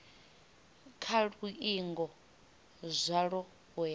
kha luingo zwalo u ya